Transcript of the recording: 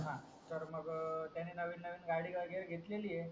तर मग त्याने नवीन नवीन गाडी वगेरे घेतलेली आहे